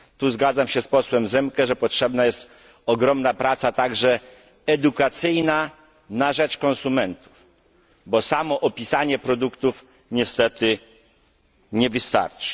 Zgadzam się tu z posłem Zemke, że potrzebna jest ogromna praca także edukacyjna na rzecz konsumentów, bo samo opisanie produktów niestety nie wystarczy.